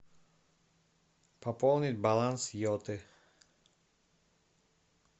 пополнить баланс йоты